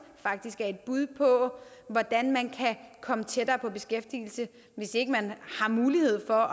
er et bud på hvordan man kan komme tættere på beskæftigelse hvis ikke man har mulighed for